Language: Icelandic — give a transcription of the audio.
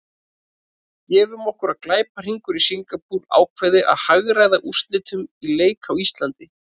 Gefum okkur að glæpahringur í Singapúr ákveði að hagræða úrslitum í leik á Íslandi.